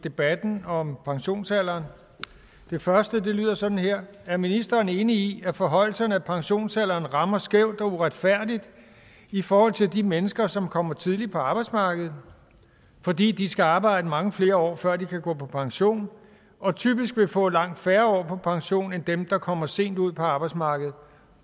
debatten om pensionsalderen det første lyder sådan her er ministeren enig i at forhøjelserne af pensionsalderen rammer skævt og uretfærdigt i forhold til de mennesker som kommer tidligt på arbejdsmarkedet fordi de skal arbejde i mange flere år før de kan gå på pension og typisk vil få langt færre år på pension end dem der kommer sent ud på arbejdsmarkedet